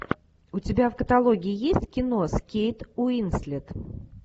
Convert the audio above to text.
у тебя в каталоге есть кино с кейт уинслет